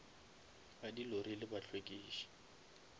ba di lori le bahlwekiši